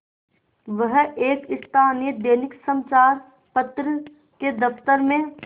वह एक स्थानीय दैनिक समचार पत्र के दफ्तर में